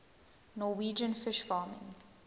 norwegian fish farming